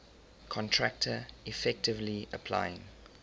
contractor effectively applying